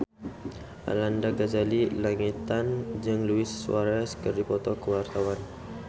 Arlanda Ghazali Langitan jeung Luis Suarez keur dipoto ku wartawan